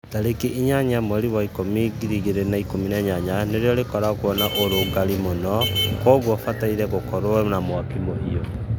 Tarĩkĩ 8 mwerĩ wa ĩkumĩ 2018 rĩũa rĩkoragwo na ũrũgarĩ mũno, Kogwo rĩbatĩe gũkorwo na mwakĩ mũhĩu